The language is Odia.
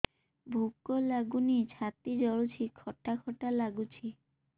ଭୁକ ଲାଗୁନି ଛାତି ଜଳୁଛି ଖଟା ଖଟା ଲାଗୁଛି